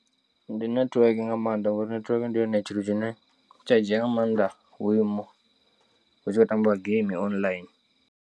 Ndi netiweke nga maanḓa ngori netiweke ndi tshone tshithu tshine tsha dzhia nga maanḓa vhuimo hu tshi khou tambiwa game online.